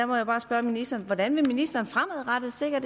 må jeg bare spørge ministeren hvordan vil ministeren fremadrettet sikre